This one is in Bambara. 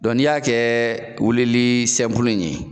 ni y'a kɛ wuli li in ye